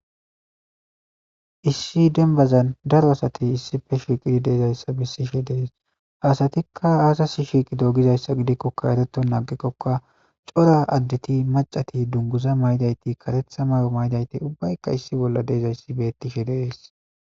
Issi dembazan daro asatey issife shiiqidi deezayssa bessishe deees , haasatikka aasasi shiiqi doogizayssa gidikkokka ereton aagikkokka cora additi macati dunguza maydayti karetha mayo maydayti ubbaykka issi bolla deezayssi bettishe deees.